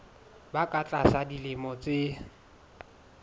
ba ka tlasa dilemo tse